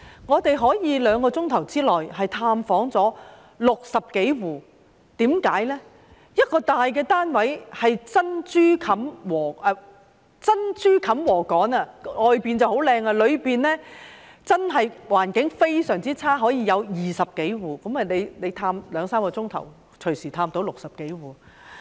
我們竟在兩小時內探訪了60多戶，一個大單位裏是珍珠冚禾稈，即是外面看來很好，但內裏環境非常差，當中竟居住了20多戶，所以兩三小時便可以探訪了60多戶。